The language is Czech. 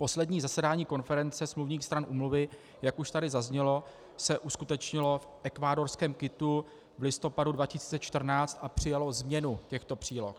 Poslední zasedání konference smluvních stran úmluvy, jak už tady zaznělo, se uskutečnilo v ekvádorském Quitu v listopadu 2014 a přijalo změnu těchto příloh.